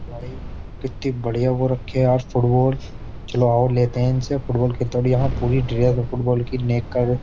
भाई कितनी बढ़िया वो रखी है यार फुटबॉल चलो आओ लेते हैं इनसे फुटबॉल खेलते और यहां पूरी ड्रेस है फुटबॉल की नेक कर रहे ।